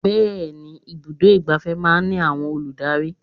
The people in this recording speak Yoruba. Bẹẹni, ibùdó igbàfẹ́ máa ń ní àwọn olùdarí.